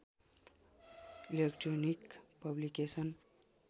electronic publication